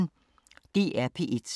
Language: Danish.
DR P1